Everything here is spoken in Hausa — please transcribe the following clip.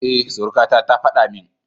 E, surukata ta faɗa min.